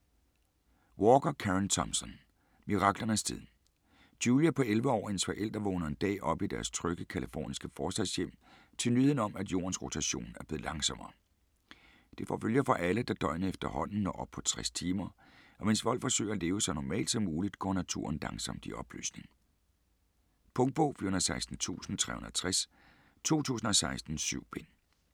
Walker, Karen Thompson: Miraklernes tid Julia på 11 år og hendes forældre vågner en dag op i deres trygge californiske forstadshjem til nyheden om, at jordens rotation er blevet langsommere. Det får følger for alle, da døgnet efterhånden når op på 60 timer, og mens folk forsøger at leve så normalt som muligt, går naturen langsomt i opløsning. Punktbog 416360 2016. 7 bind.